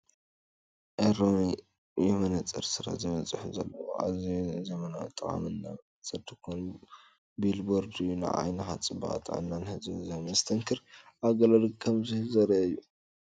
"ኤልሮኢ የመነፅር ስራ" ዝብል ፅሑፍ ዘለዎ እዩ፡፡ ኣዝዩ ዘመናውን ጠቓምን ናይ መነጽር ድኳን ቢልቦርድ እዩ፣ ንዓይንኻ ጽባቐን ጥዕናን ዝህብ መስተንክር ኣገልግሎት ከም ዝህብ ዘርኢ እዩ!